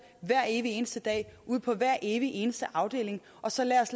hver evig eneste dag ude på hver evig eneste afdeling og så lad os